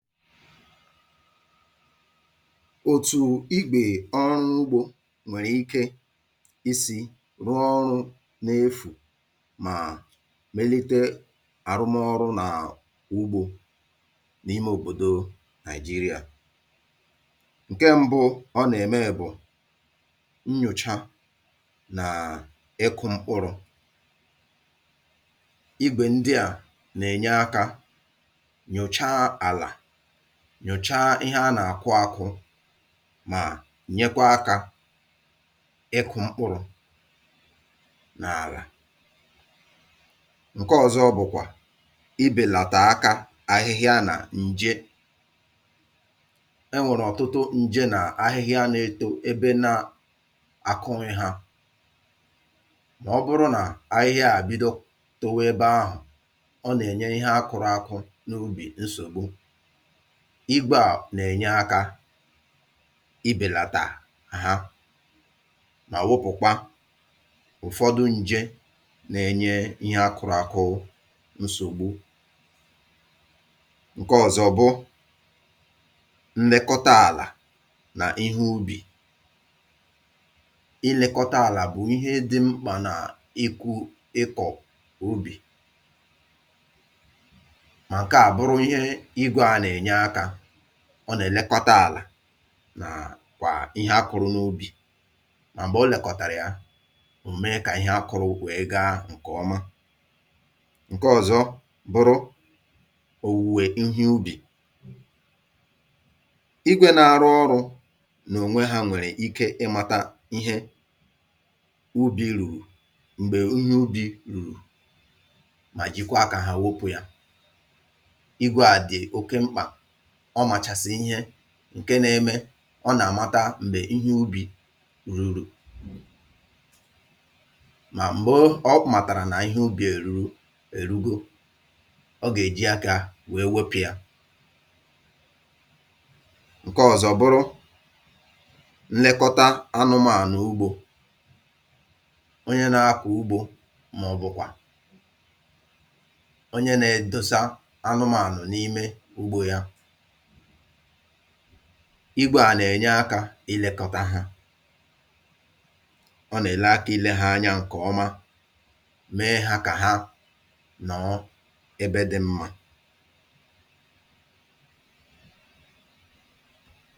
Otù igbè ọrụ ugbȯ nwèrè ike isi̇ rụọ ọrụ̇ n’efù mà mélite àrụmọrụ nà ugbȯ n’ime òbòdò Nigeria. Nke ṁbụ̇ ọ nà-ème bụ̀ nnyòcha nà ịkụ̇ mkpụrụ. Igwe ndị a na-enye aka nyòchaa ala, nnyochaa ihe a nà-àkụ akụ mà nyekwa akȧ ịkụ̇ mkpụrụ̇ nà àlà. Nke ọzọ bụ̀kwà ibèlàtà aka ahịhịa nà ǹje. E nwèrè ọ̀tụtụ ǹje nà ahịhịa na-eto ebe na àkụhị hȧ, mà ọ bụrụ nà ahịhịa àbịdọ towe ebe ahụ̀, ọ nà-ènye ihe a kụrụ akụ n’ubì nsògbu. Igwe à nà-ènye akȧ ibèlàtà ha ma wepụ̀kwa ụ̀fọdụ ǹje nà-enye ihe a kụ̇rụ̇ akụ̇ nsògbu. Nke ọ̀zọ̀ bụ nlekọta àlà nà ihe ubì. Nlekọta àlà bụ̀ ihe dị mkpà nà ịkụ̇ ịkọ̀ ubì ma nke a bụrụ ihe igwe a na-enye aka. Ọ nà-èlekọta àlà nà kwà ihe akụrụ n’ubì. Mà m̀gbè o lèkọ̀tàrà ya, ò mee kà ihe a kụrụ wee gaa ǹkè ọma. Nke ọ̀zọ bụrụ owuwe ihe ubì. Igwė na-arụ ọrụ̇ nònwe ha nwèrè ike ịmȧta ihe ubì rurù m̀gbè ihe ubì rùru mà jikwa akȧ ha wepụ yȧ. Igwė à dị̀ oke mkpà, ọ màchàsị̀ ihe ǹke na-eme ọ nà-amata m̀gbè ihe ubì ruru. Mà m̀gbo ọ màtàrà nà ihe ubì eru èrugo, ọ gà-èji akȧ wee wepụ ya. Nke ọ̀zọ bụrụ nlekọta anụmànụ̀ ugbȯ. Onye na-akọ̀ ugbȯ màọ̀bụ̀kwà onye na-edosa anụmànụ̀ n’ime ugbȯ ya, igwė à nà-ènye akȧ ilėkọ̇tȧ ha. Ọ nà-èle akȧ ilėhȧ anya ǹkè ọma, mee hȧ kà ha nọọ ebe dị̇ mmȧ.